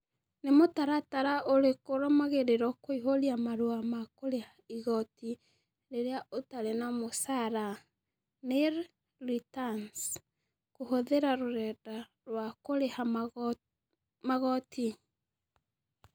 Read prompt question only